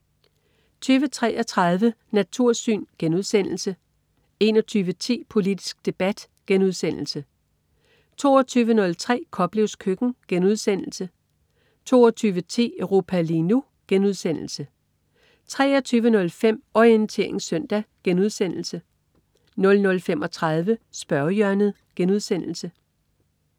20.33 Natursyn* 21.10 Politisk debat* 22.03 Koplevs køkken* 22.10 Europa lige nu* 23.05 Orientering søndag* 00.35 Spørgehjørnet*